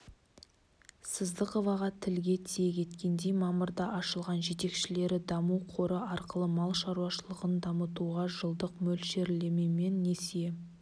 сыздықоваға тілге тиек еткендей мамырда ашылған жетекшілері даму қоры арқылы мал шаруашылығын дамытуға жылдық мөлшерлемемен несие